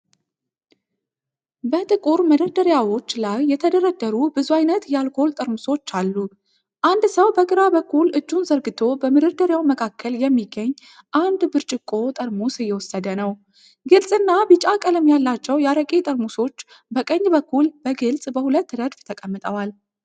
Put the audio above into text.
በጥቁር መደርደሪያዎች ላይ የተደረደሩ ብዙ አይነት የአልኮል ጠርሙሶች አሉ። አንድ ሰው በግራ በኩል እጁን ዘርግቶ በመደርደሪያው መካከል የሚገኝ አንድ ብርጭቆ ጠርሙስ እየወሰደ ነው። ግልጽና ቢጫ ቀለም ያላቸው የአረቄ ጠርሙሶች በቀኝ በኩል በግልጽ በሁለት ረድፍ ተቀምጠዋል።